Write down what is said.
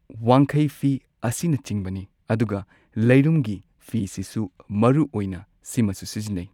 ꯋꯥꯡꯈꯩ ꯐꯤ ꯑꯁꯤꯅꯆꯤꯡꯕꯅꯤ ꯑꯗꯨꯒ ꯂꯩꯔꯨꯝꯒꯤ ꯐꯤꯁꯤꯁꯨ ꯃꯔꯨ ꯑꯣꯏꯅ ꯁꯤꯃꯁꯨ ꯁꯤꯖꯤꯟꯅꯩ꯫